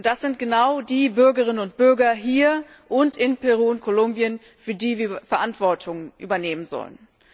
Und das sind genau die Bürgerinnen und Bürger hier und in Peru und Kolumbien, für die wir Verantwortung übernehmen sollen.